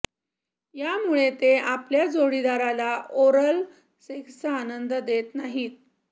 यामुळे ते आपल्या जोडीदाराला ओरल सेक्सचा आनंद देत नाहीत